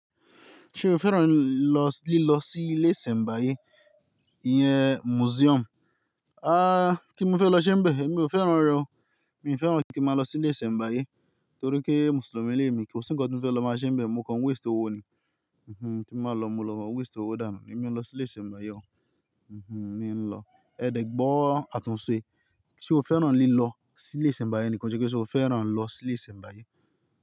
Ṣé o fẹ́ràn lílọ sí ilé ìṣẹ̀mbáyé ìyẹn museum? Kí n fẹ́ lọ ṣẹ́ níbẹ̀, mi ò fẹ́ràn rẹ̀ o. Mi ò fẹ́ràn kí n máa lọ sí ilé ìṣẹ̀mbáyé torí pé Mùsùlùmí ni èmi, kó sì ńkan tí mo fẹ́ lọ má ṣẹ́ nibẹ̀, mo kan waste owó ni. Ti ba lọ, mo lọ waste owó dànù, èmi ò n lọ sí ilé ìṣẹ̀mbáyé o. Mi n lọ. Ẹ dẹ̀ gbọ́ àtúnṣe. Ṣé o fẹ́ràn lílọ sí ilé ìṣẹ̀mbáyé ni? Won sọ́ pẹ́ ṣe ó fẹ́ràn lọ sí ilé ìṣẹ̀mbáyé.